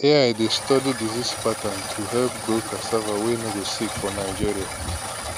ai dey study disease pattern to help grow cassava wey no dey sick for nigeria